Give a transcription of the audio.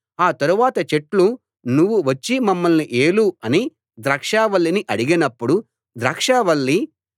ఆ తరువాత చెట్లు నువ్వు వచ్చి మమ్మల్ని ఏలు అని ద్రాక్షావల్లిని అడిగినప్పుడు ద్రాక్షావల్లి